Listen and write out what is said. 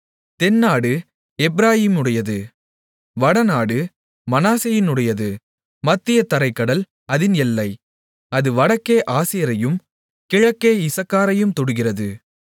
தென்நாடு எப்பிராயீமுடையது வடநாடு மனாசேயினுடையது மத்திய தரைக் கடல் அதின் எல்லை அது வடக்கே ஆசேரையும் கிழக்கே இசக்காரையும் தொடுகிறது